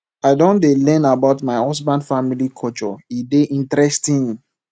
i don dey learn about my husband family culture e dey interesting